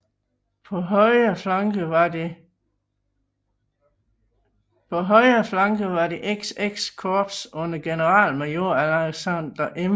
På højre flanke var det XX korps under generalmajor Alexander M